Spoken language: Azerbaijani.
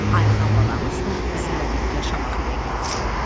Ayxan balamız da bizimlə birgə Şamaxıya getsin.